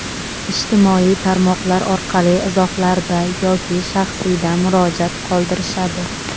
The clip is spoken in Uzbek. ijtimoiy tarmoqlar orqali izohlarda yoki shaxsiyda murojaat qoldirishadi.